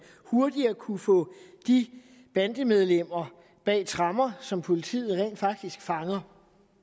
hurtigere kunne få de bandemedlemmer bag tremmer som politiet rent faktisk fanger